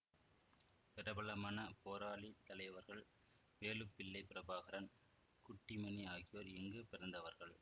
பிரபலமான போராளித் தலைவர்கள் வேலுப்பிள்ளை பிரபாகரன் குட்டிமணி ஆகியோர் இங்கு பிறந்தவர்கள்